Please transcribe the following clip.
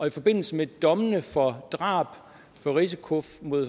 i forbindelse med dommene for drab risiko